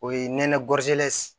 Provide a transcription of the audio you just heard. O ye nɛnɛ